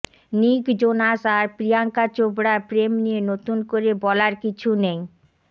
নিক জোনাস আর প্রিয়াঙ্কা চোপড়ার প্রেম নিয়ে নতুন করে বলার কিছু নেই